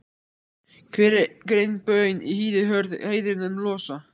Hver ein baun í hýði hörð hægðirnar mun losa.